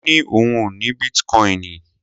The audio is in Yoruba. Ó ní òun ò ní bítíkoìnì.